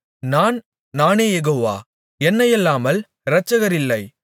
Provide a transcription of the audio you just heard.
நான் நானே யெகோவா என்னையல்லாமல் இரட்சகர் இல்லை